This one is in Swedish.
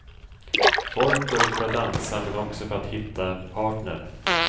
Folk går ut för att dansa, men också för att hitta en partner.